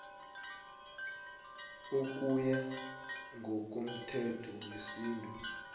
ukuya ngokomthetho wesintu